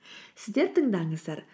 сіздер тыңдаңыздар